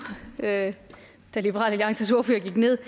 da liberal alliances ordfører gik ned